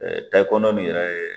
Ɛɛ Tayi kɔnɔ min yɛrɛ